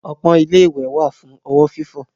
Ọpọ́n ilé-ìwẹ̀ wà fún ọwọ́ fífọ̀.